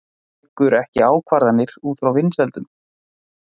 Tekur ekki ákvarðanir út frá vinsældum